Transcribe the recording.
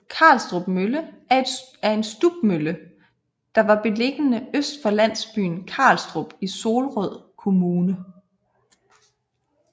Karlstrup Mølle er en stubmølle der var beliggende øst for landsbyen Karlstrup i Solrød Kommune